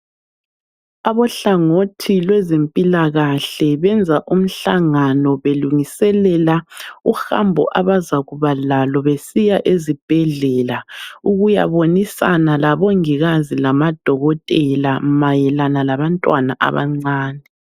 Abohlangothi lwezempilakahle benza umhlangano, belungiselela uhambo abazakuba lalo besiya ezibhedlela ukuyabonisana labongikazi lamadokotela mayelana labantwana abancane.